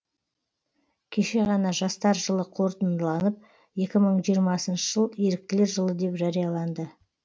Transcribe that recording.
кеше ғана жастар жылы қорытындыланып екі мың жиырмасыншы жыл еріктілер жылы деп жарияланды